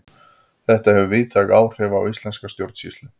Þetta hefur víðtæk áhrif á íslenska stjórnsýslu.